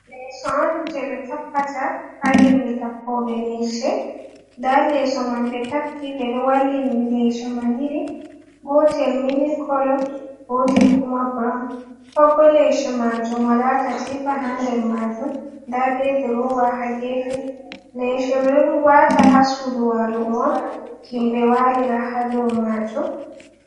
Leso on je ɓe tappata ha himɓe tappoɓe leseo, nda leso man ɓe tappi ɓe ɗo wallini leseo mal iri gotel mili kolo gotel kuma brawn pabdbo lese majum wala katifa, haa nder majum nda ɓe dirowa ha gefe, leshe be dowata ha sudu walugo on himbe walira ha do majum.